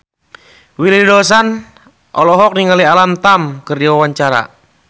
Willy Dozan olohok ningali Alam Tam keur diwawancara